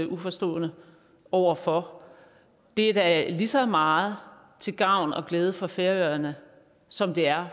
uforstående over for det er da lige så meget til gavn og glæde for færøerne som det er